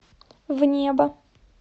в небо